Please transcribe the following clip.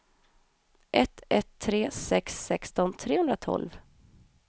ett ett tre sex sexton trehundratolv